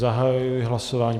Zahajuji hlasování.